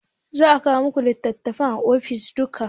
Za a kawo muku litattafai a ofis dinku